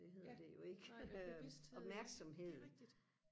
det hedder det jo ikke øh opmærksomhed